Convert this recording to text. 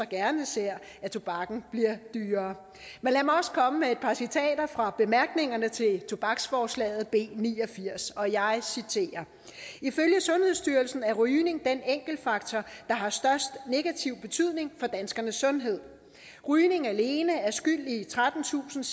gerne ser at tobakken bliver dyrere men lad mig også komme med et par citater fra bemærkningerne til tobaksforslaget b ni og firs og jeg citerer ifølge sundhedsstyrelsen er rygning den enkeltfaktor der har størst negativ betydning for danskernes sundhed rygning alene er skyld i trettentusinde